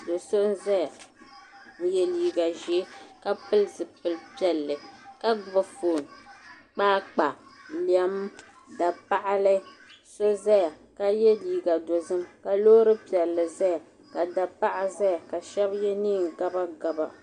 Do so n ʒɛya n yɛ liiga ʒiɛ ka pili zipili piɛlli ka gbubi foon kpaakpa lɛm dapaɣali so ʒɛya ka yɛ liiga dozim ka loori piɛlli ʒɛya ka da paɣa ʒɛya ka shab yɛ neen gabagaba